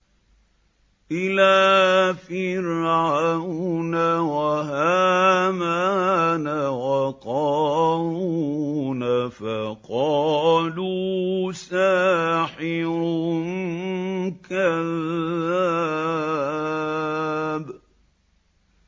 إِلَىٰ فِرْعَوْنَ وَهَامَانَ وَقَارُونَ فَقَالُوا سَاحِرٌ كَذَّابٌ